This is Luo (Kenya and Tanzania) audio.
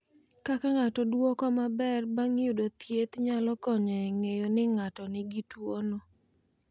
Kaka ng’ato dwoko maber bang’ yudo thieth nyalo konyo e ng’eyo ni ng’ato nigi tuwono.